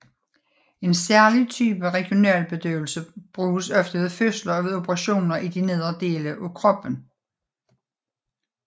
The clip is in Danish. En særlig type regionalbedøvelse bruges ofte ved fødsler og ved operationer i de nedre dele af kroppen